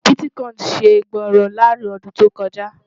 biticoini ṣé gbórò làrin ọdún tó kò jà